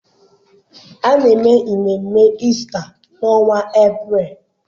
A na-eme ememme Ista n’ọnwa Eprel.